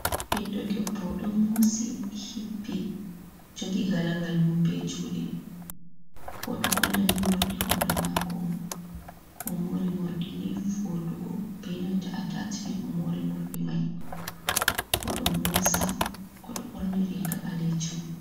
Ɓiddo debbo ɗo mosi hippi jogi galagal mum be juɗe, oɗo holla ni morɗi hore mako on, o mori morɗi ni voɗugo benanta atachimen o mori morɗi mai, oɗo mosa odo ɓorni riga ɓalejum.